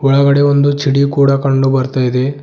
ಒಳಗಡೆ ಒಂದು ಚಡಿ ಕೂಡ ಕಂಡು ಬರ್ತಾಯಿದೆ.